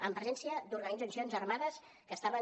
amb presència d’organitzacions armades que estaven